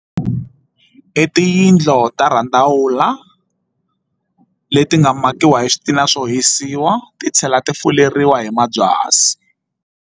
I tiyindlu ta randavula leti nga makiwa hi switina swo hisiwa ti tlhela ti fuleriwa hi mabyasi.